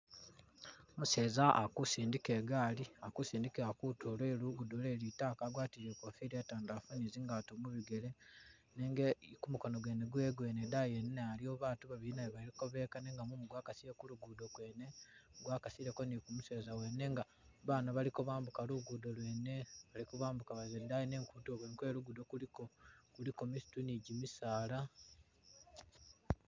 Umuseza alj kusindika igaali, ali kusindikila kutulo lwe lugudo lwe litaaka agwatile ikofila itandalafu ne zingaato mubigele nenga kumukono kwewe kwene idaayi yene nayo iliyo baatu babili nabo bali kobeka nenga mumu gwa kasile kulugudo kwene , gwakasileko ne kumuseza nenga baana bali kobambuka lugudo lwene, bali kobambuka baza idaani nenga kutulo kwene kwe lugudo kuliko, kuliko misitu ne gimisaala.